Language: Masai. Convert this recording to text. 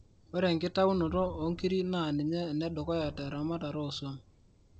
ore enkitaunoto oonkirik naa ninye ene dukuya teamatae oo swam